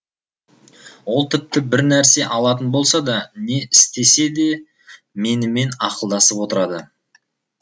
ол тіпті бір нәрсе алатын болса да не істесе де менімен ақылдасып отырады